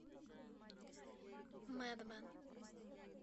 мэдмэн